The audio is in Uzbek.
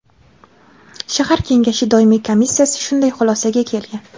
Shahar kengashi doimiy komissiyasi shunday xulosaga kelgan.